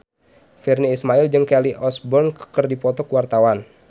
Virnie Ismail jeung Kelly Osbourne keur dipoto ku wartawan